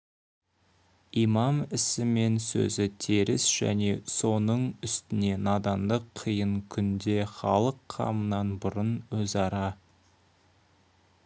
имам ісі мен сөзі теріс және соның үстіне надандық қиын күнде халық қамынан бұрын өзара